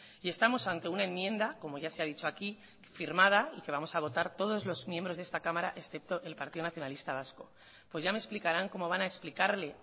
y estamos ante una enmienda como ya se ha dicho aquí firmada y que vamos a votar todos los miembros de esta cámara excepto el partido nacionalista vasco pues ya me explicarán cómo van a explicarle